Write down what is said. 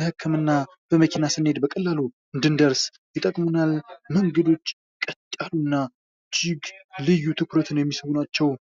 ለክህምና በመኪና ስንሄድ በቀላሉ እንዲንደርስ ይጠቁሙና። መንገዶች ቀጥ ያሉና እጅግ ልዩ ትኩረትን የሚስቡ ናቸው።